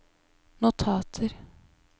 notater